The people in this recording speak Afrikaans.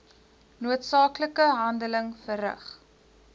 noodsaaklike handeling verrig